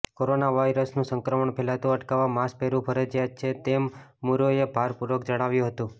corona વાયરસનું સંક્રમણ ફેલાતું અટકાવવા માસ્ક પહેરવું ફરજિયાત છે તેમ મુરેએ ભારપૂર્વક જણાવ્યું હતું